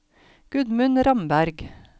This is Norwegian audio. Gudmund Ramberg